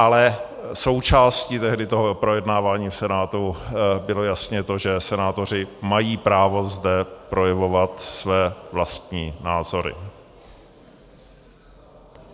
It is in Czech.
Ale součástí tehdy toho projednávání v Senátu bylo jasně to, že senátoři mají právo zde projevovat své vlastní názory.